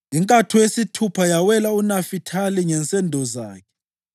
Inkatho yesithupha yawela uNafithali ngensendo zakhe: